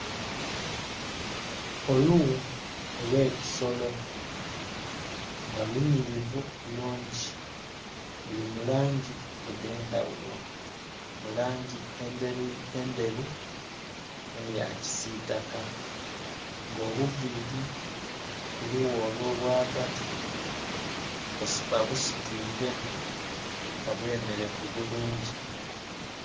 Olughu olwe kisolo nga lunhirivu bulungi luli mulangi edhendha ghulo mulangi endheru nhe ya kisitaka nga obuviri ku lughu olwo bwa ghagati babusitwire nga bwe merevu bulungi.